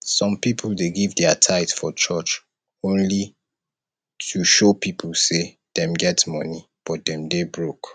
some people dey give dia tithe for church only to show people say dem get money but dem dey broke